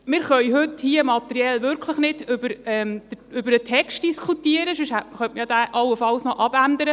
Wir können heute hier wirklich nicht materiell über den Text diskutieren, sonst könnte man diesen allenfalls noch abändern.